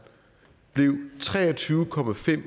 blev tre og tyve